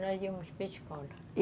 Nós íamos para a escola.